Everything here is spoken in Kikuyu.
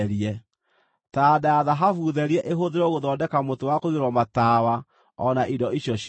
Taranda ya thahabu therie ĩhũthĩrwo gũthondeka mũtĩ wa kũigĩrĩrwo matawa o na indo icio ciothe.